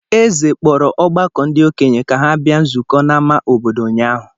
Eze kpọrọ ọgbakọ ndị okenye ka ha bịa nzụkọ n'ámá obodo ụnyaahụ.